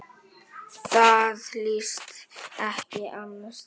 Það líðst ekki annars staðar.